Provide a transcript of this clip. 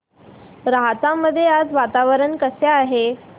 राहता मध्ये आज वातावरण कसे आहे